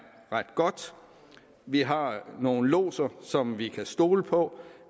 ret godt vi har nogle lodser som vi kan stole på